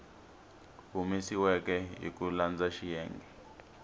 humesiweke hi ku landza xiyenge